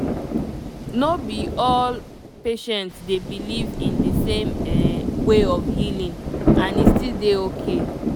no be all patient dey believe in di same um way of healing and e still dey okay